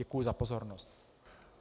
Děkuji za pozornost.